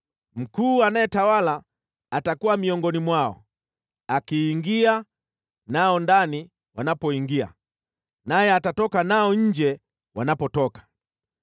Mkuu anayetawala atakuwa miongoni mwao, akiingia nao ndani wanapoingia, naye atatoka nao nje wanapotoka.